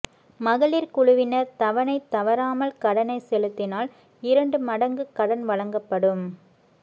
மகளிா் குழுவினா் தவணை தவறாமல் கடனை செலுத்தினால் இரண்டு மடங்கு கடன் வழங்கப்படும்